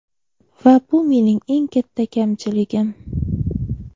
Va bu mening eng katta kamchiligim.